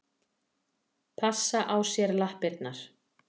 Passa á sér lappirnar.